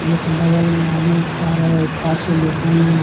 एक बगल में आदमी खा रहे पाच्छे दोकान है ।